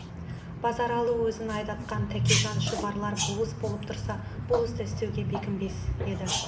базаралы өзін айдатқан тәкежан шұбарлар болыс болып тұрса бұл істі істеуге бекінбес еді